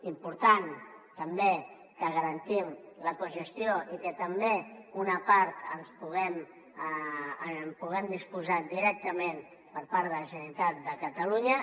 important també que en garantim la cogestió i que també d’una part en puguem disposar directament per part de la ge·neralitat de catalunya